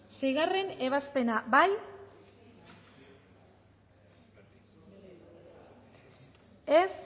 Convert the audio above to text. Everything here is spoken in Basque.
seigarrena ebazpena bozkatu dezakegu